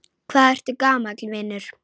Hvað ertu gamall, vinur?